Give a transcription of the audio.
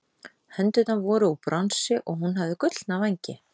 Hendurnar voru úr bronsi og hún hafði gullna vængi.